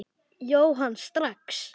Jóhann: Strax?